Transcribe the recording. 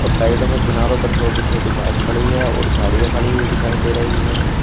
और साइडो मे किनारो पर छोटी छोटी घास खड़ी है और झाड़ियां खड़ी हुई दिखाई दे रही है।